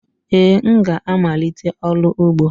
Ee, m ga-amalite ọrụ ugbo